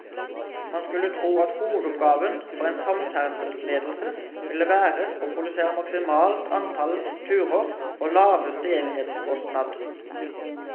Man skulle tro at hovedoppgaven for en samferdselsledelse ville være å produsere maksimalt antall turer for laveste enhetskostnad.